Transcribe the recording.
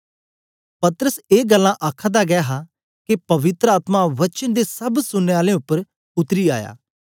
पतरस ए गल्लां आखादा गै हा के पवित्र आत्मा वचन दे सब सुनने आलें उपर उतरी आया